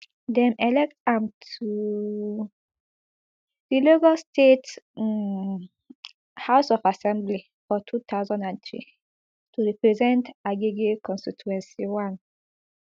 dem elect am to di lagos state um house of assembly for two thousand and three to represent agege constituency one